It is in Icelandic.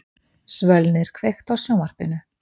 Svölnir, kveiktu á sjónvarpinu.